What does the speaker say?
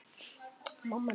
Hann er lítið eitt hissa.